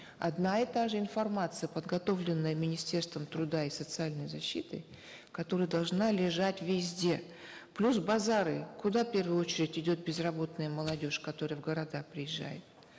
одна и та же информация подготовленная министерством труда и социальной защиты которая должна лежать везде плюс базары куда в первую очередь идет безработная молодежь которая в города приезжает